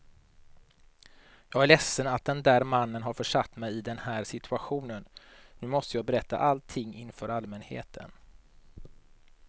Jag är ledsen att den där mannen har försatt mig i den här situationen, nu måste jag berätta allting inför allmänheten.